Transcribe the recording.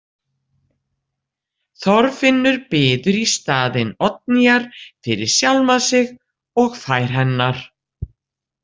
Þorfinnur biður í staðinn Oddnýjar fyrir sjálfan sig og fær hennar.